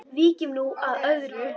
Víkjum nú að öðru.